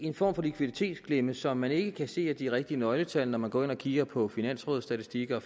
en form for likviditetsklemme som man ikke kan se af de rigtige nøgletal når man går ind og kigger på finansrådets statistikker